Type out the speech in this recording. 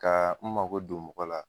Ka n mago don mɔgɔ la.